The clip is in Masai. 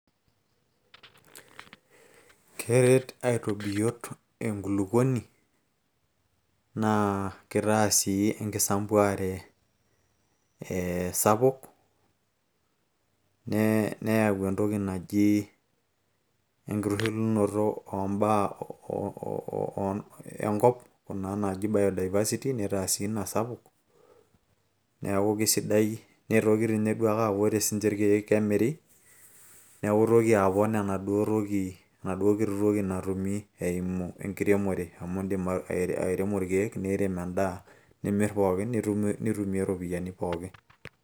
keret aitobiyot enkulukuoni naa kitaa sii enkisampuare ee sapuk neyau entoki naji enkitushulunoto oombaa oo enkop kuna naaji biodiversity nitaa sii ina sapuk neeku kisidai nitoki tii ninye duake aaku ore sinche irkeek naa kemiri neeku itoki apon enaduo toki enaduo kiti toki natumi eimu enkiremore amu indim airemo irkeek niirem endaa nimirr pooki nitumie iropiyiani pooki.